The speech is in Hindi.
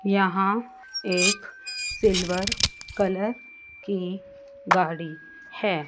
यहां एक सिल्वर कलर की गाड़ी है।